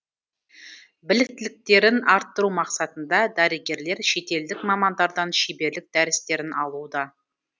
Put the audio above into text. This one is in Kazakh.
біліктіліктерін арттыру мақсатында дәрігерлер шетелдік мамандардан шеберлік дәрістерін алуда